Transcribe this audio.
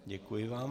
Děkuji vám.